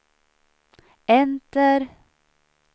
enter